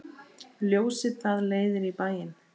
Ljósið það leiðir í bæinn.